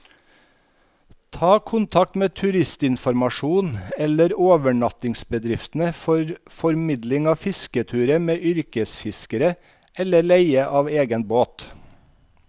Ta kontakt med turistinformasjonen eller overnattingsbedriftene for formidling av fisketurer med yrkesfiskere, eller leie av egen båt.